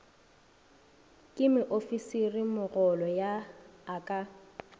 ke moofisirimogolo yo a ka